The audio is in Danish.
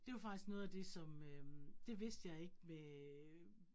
Det var faktisk noget af det som øh, det vidste jeg ikke med øh